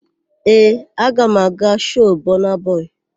Ee, aga m aga shoo Bọna bọị.